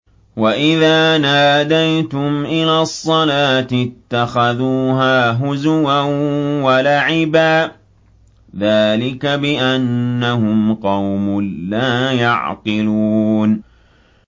وَإِذَا نَادَيْتُمْ إِلَى الصَّلَاةِ اتَّخَذُوهَا هُزُوًا وَلَعِبًا ۚ ذَٰلِكَ بِأَنَّهُمْ قَوْمٌ لَّا يَعْقِلُونَ